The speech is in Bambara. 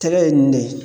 Tɛgɛ ye nin de ye